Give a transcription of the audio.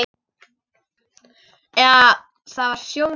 Eða var það Sjóni?